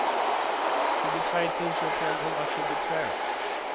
tjugotre tusen femhundratjugotvå